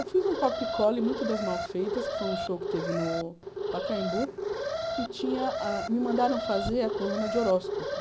Eu fiz um copia-cole muito das Mal feitas, que foi um show que teve no Pacaembu, e me mandaram fazer a coluna de horóscopo.